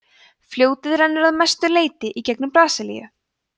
fljótið rennur að mestu leyti í gegnum brasilíu